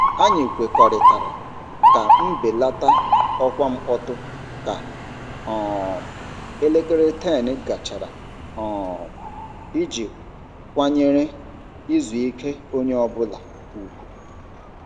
Anyị kwekọrịtara ka mbelata ọkwa mkpọtụ ka um elekere 10 gachara um iji kwanyere izu ike onye ọ bụla ùgwù.